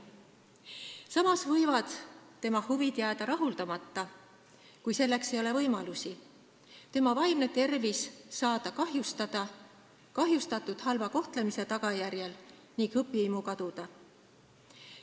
Samas võivad tema huvid jääda rahuldamata, kui selleks ei ole võimalusi, tema vaimne tervis võib saada kahjustatud halva kohtlemise tagajärjel ning õpihimu kaduda.